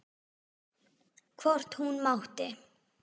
Hvort hún mátti!